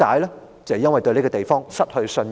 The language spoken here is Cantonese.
就是因為對這個地方失去信任。